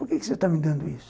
Por que você está me dando isso?